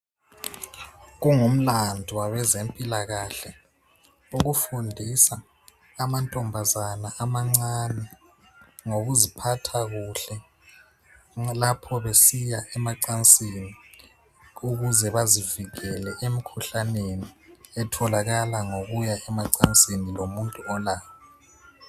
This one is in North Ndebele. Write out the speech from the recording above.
Kungumlandu wabezempilakahle ukufundisa amantombazana amancane ngokuziphatha kuhle lapho besiya emacansini ukuze bazivikele emkhuhlaneni